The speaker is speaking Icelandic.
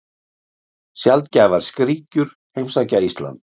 Sjaldgæfar skríkjur heimsækja Ísland